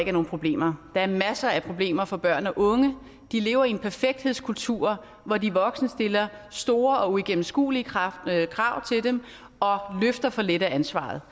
er nogen problemer der er masser af problemer for børn og unge de lever i en perfekthedskultur hvor de voksne stiller store og uigennemskuelige krav krav til dem og løfter for lidt af ansvaret